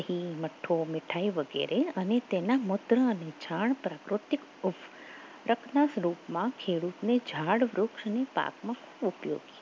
ઘી, મઠો, મીઠાઈ વગેરે અને તેના મૂત્ર અને છાણ પ્રાકૃતિક ઉફસ્તક ના સ્વરૂપમાં ખેડૂતને ઝાડ વૃક્ષની પાકમાં ઉપયોગી